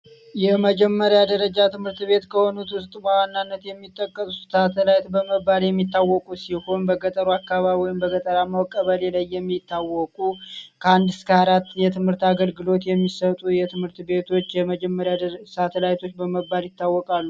የመጀመሪያ ደረጃ ትምህርት ቤት ከሆኑ ዋና ሚጠቀሱት አገራት በመባል የሚታወቁ ሲሆን በቀጠሮ አካባቢው ቀበሌ ላይ የሚታወቁ ከአንድ እስከ አራት የትምህርት አገልግሎት የሚሰጡ የትምህርት ቤቶች የመጀመሪያ ሳተላይቶች በመባል ይታወቃሉ